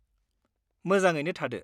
मोजाङैनो थादो!